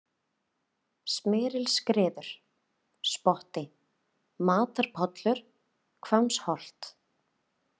Smyrilsskriður, Spotti, Matarpollur, Hvammsholt